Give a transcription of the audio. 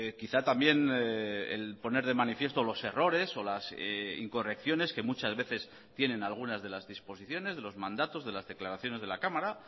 quizá también el poner de manifiesto los errores o las incorrecciones que muchas veces tienen algunas de las disposiciones de los mandatos de las declaraciones de la cámara